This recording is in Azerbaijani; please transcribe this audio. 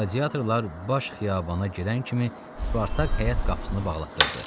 Qladiatorlar baş xiyabana girən kimi Spartak həyət qapısını bağlatdırdı.